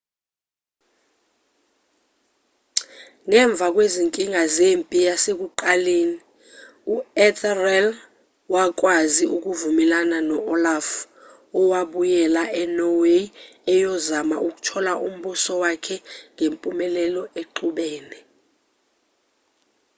ngemva kwezinkinga zempi zasekuqaleni u-ethelred wakwazi ukuvumelana no-olaf owabuyela e-norway eyozama ukuthola umbuso wakhe ngempumelelo exubene